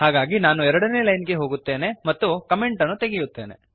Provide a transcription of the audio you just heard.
ಹಾಗಾಗಿ ನಾನು 2ನೇ ಲೈನ್ ಗೆ ಹೋಗುತ್ತೇನೆ ಮತ್ತು ಕಮೆಂಟ್ ಅನ್ನು ತೆಗೆಯುತ್ತೇನೆ